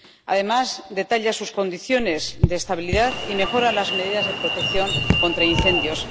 Además, detalla sus condiciones de estabilidad y mejora las medidas de protección contra incendios.